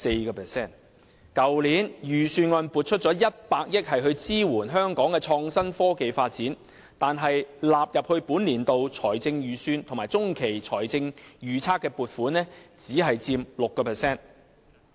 去年的預算案撥出了100億元支援香港的創新科技發展，但納入本年度財政預算及中期財政預測的撥款只佔 6%。